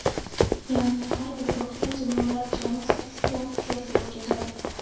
Ya’ni har bir guruhda jamoalar jami sakkiztadan uchrashuv o‘tkazadi.